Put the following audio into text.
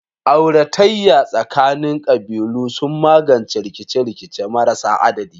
Auratayya tsakanin kabilu sun magance rikice-rikice marasa adadi.